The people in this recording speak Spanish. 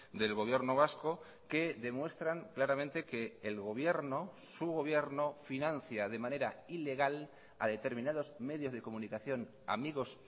del gobierno vasco que demuestran claramente que el gobierno su gobierno financia de manera ilegal a determinados medios de comunicación amigos